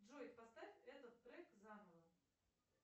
джой поставь этот трек заново